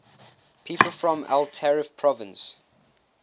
people from el taref province